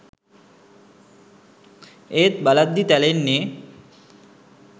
ඒත් බලද්දි තැලෙන්නෙ